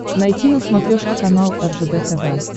найти на смотрешке канал ржд тв